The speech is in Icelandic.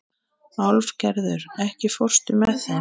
Álfgerður, ekki fórstu með þeim?